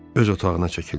Öz otağına çəkildi.